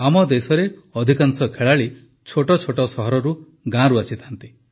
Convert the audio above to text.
ଆମ ଦେଶରେ ଅଧିକାଂଶ ଖେଳାଳି ଛୋଟ ଛୋଟ ସହରରୁ ଗାଁରୁ ଆସିଥାନ୍ତି